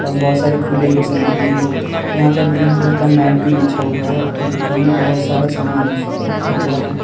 और बोहोत सारी खुले हुए सामान भी हैं। यहां पर ग्रीन कलर का मैट भी बिछा हुआ है और दुकान में बोहोत सारा सामान रखा हुआ है।